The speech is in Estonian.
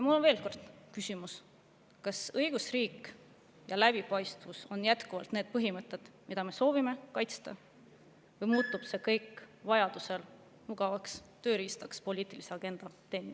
Mul on veel kord küsimus, kas õigusriik ja läbipaistvus on jätkuvalt need põhimõtted, mida me soovime kaitsta, või muutub see kõik vajadusel mugavaks tööriistaks, et poliitilist agendat teenida.